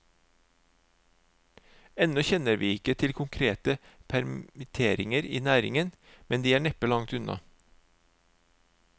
Ennå kjenner vi ikke til konkrete permitteringer i næringen, men de er neppe langt unna.